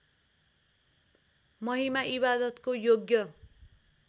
महिमा इबादतको योग्य